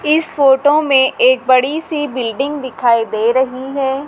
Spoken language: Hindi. इस फोटो में एक बड़ी सी बिल्डिंग दिखाई दे रही है।